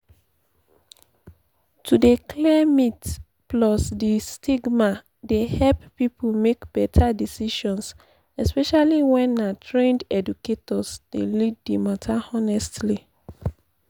to dey clear myths pause and stigma dey help people make better decisions especially when na trained educators dey lead di matter honestly.